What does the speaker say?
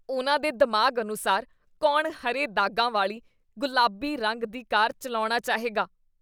ਉਨ੍ਹਾਂ ਦੇ ਦਿਮਾਗ਼ ਅਨੁਸਾਰ ਕੌਣ ਹਰੇ ਦਾਗਾਂ ਵਾਲੀ ਗੁਲਾਬੀ ਰੰਗ ਦੀ ਕਾਰ ਚੱਲਾਉਣਾ ਚਾਹੇਗਾ?